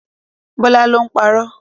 Bọĺá ló ń parọ́